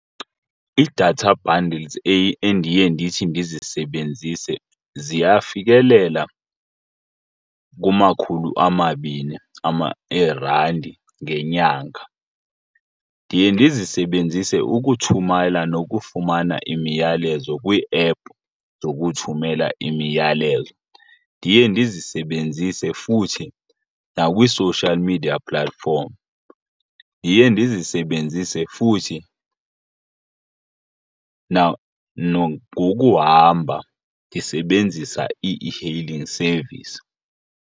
Ii-data bundles endiye ndithi ndizisebenzise ziyafikeleleka kumakhulu amabini eerandi ngenyanga. Ndiye ndizisebenzise ukuthumela nokufumana imiyalezo kwiiephu zokuthumela imiyalezo. Ndiye ndizisebenzise futhi nakwii-social media platform. Ndiye ndizisebenzise futhi nangokuhamba ndisebenzisa ii-e-hailing service.